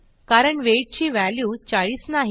कारण वेट ची व्हॅल्यू 40 नाही